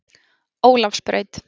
Ólafsbraut